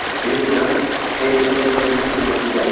Bilirsən, Endi Saint Quentinin türməsindədir.